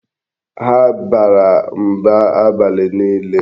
Ha bara mba abalị niile.